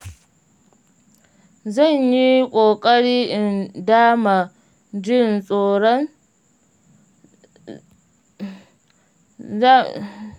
zanyi ƙokari in dama jin tsoron zan